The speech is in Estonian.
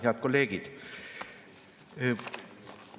Head kolleegid!